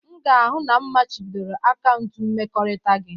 M ga-ahụ na m machibidoro akaụntụ mmekọrịta gị